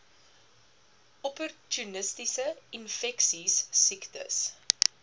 opportunistiese infeksies siektes